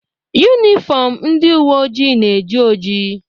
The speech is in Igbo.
Yunifọmụ ndị uwe ojii na-eji oji.